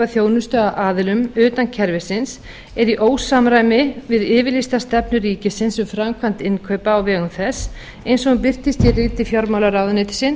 af aðilum utan kerfisins er í ósamræmi við yfirlýsta stefnu ríkisins um framkvæmd innkaupa á vegum þess eins og hún birtist í riti fjármálaráðuneytisins